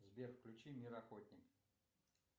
сбер включи мир охотник